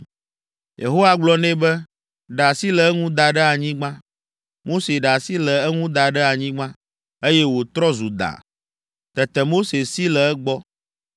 Yehowa gblɔ nɛ be, “Ɖe asi le eŋu da ɖe anyigba.” Mose ɖe asi le eŋu da ɖe anyigba, eye wòtrɔ zu da; tete Mose si le egbɔ.